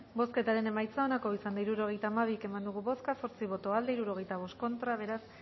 bozketaren emaitza onako izan da hirurogeita hamairu eman dugu bozka zortzi boto aldekoa sesenta y cinco contra beraz